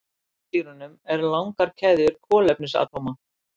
Í fitusýrunum eru langar keðjur kolefnisatómum.